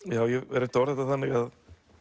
hef reynt að orða þetta þannig að